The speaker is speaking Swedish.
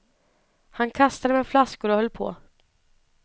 Han kastade med flaskor och höll på.